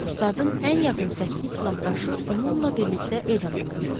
Ustadın ən yaxın səkkiz silahdaşı onunla birlikdə edam olundu.